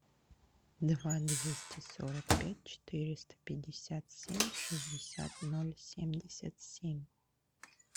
два двести сорок пять четыреста пятьдесят семь шестьдесят ноль семьдесят семь